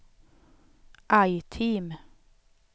item